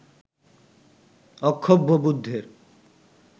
অক্ষোভ্য বুদ্ধের